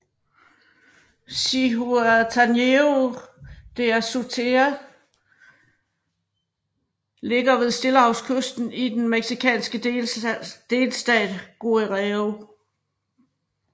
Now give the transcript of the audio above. Zihuatanejo de Azueta ligger ved stillehavskysten i den mexicanske delstat Guerrero